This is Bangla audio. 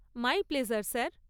My pleasure sir.